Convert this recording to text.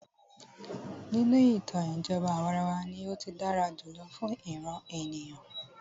Nínú ìtàn, ìjọba àwàrawa ní o tí dára jùlọ fún ìràn ènìyàn.